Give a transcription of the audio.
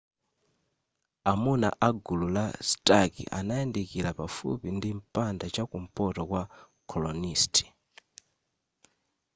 amuna a gulu la stark anayandikira pafupi ndi mpanda chakumpoto kwa colonist